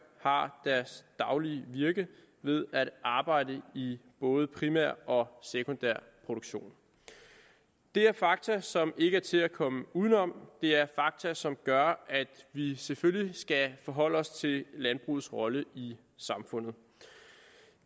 har deres daglige virke ved at arbejde i både primær og sekundær produktion det er fakta som ikke er til at komme uden om det er fakta som gør at vi selvfølgelig skal forholde os til landbrugets rolle i samfundet